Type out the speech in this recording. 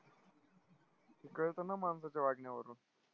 कळतं ना माणसाच्या वागण्यावरून.